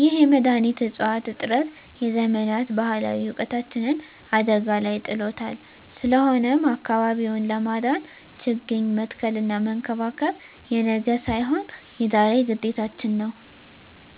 ይህ የመድኃኒት እፅዋት እጥረት የዘመናት ባህላዊ እውቀታችንን አደጋ ላይ ጥሎታል። ስለሆነም አካባቢውን ለማዳን ችግኝ መትከልና መንከባከብ የነገ ሳይሆን የዛሬ ግዴታችን ነው።